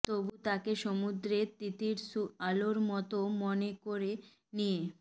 তবু তাকে সমুদ্রের তিতীর্ষু আলোর মতো মনে করে নিয়ে